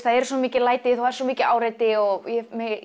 það eru svo mikil læti það er svo mikið áreiti og ég